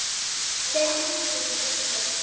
Þeir hlýddu, sem betur fer